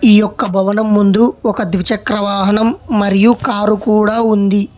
ఈ యొక్క భవనం ముందు ఒక ద్విచక్ర వాహనం మరియు కారు కూడా ఉంది.